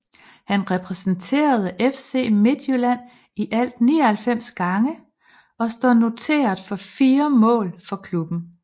Han repræsenterede FC Midtjylland i alt 99 gange og står noteret for 4 mål for klubben